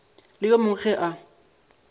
le yo mongwe ge a